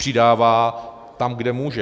Přidává tam, kde může.